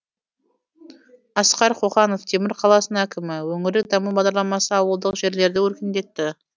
асқар қоқанов темір қаласының әкімі өңірлік даму бағдарламасы ауылдық жерлерді өркендетті